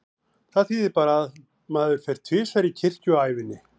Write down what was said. Það þýðir bara að maður fer tvisvar í kirkju á ævinni.